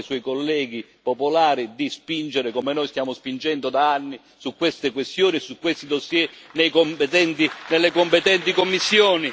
dica ai suoi colleghi Popolari di spingere, come noi stiamo spingendo da anni, su queste questioni e su questi dossier nelle competenti commissioni